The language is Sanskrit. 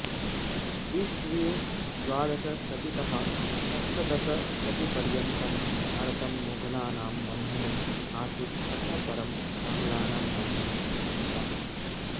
इस्वीये द्वादशशतीतः सप्तदशशतीपर्यन्तं भारतं मुगलानां बन्धने आसीत् ततः परम् आग्लानां बन्धने पतितम्